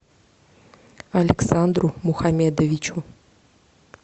александру мухамедовичу